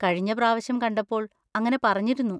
കഴിഞ്ഞ പ്രാവശ്യം കണ്ടപ്പോൾ അങ്ങനെ പറഞ്ഞിരുന്നു.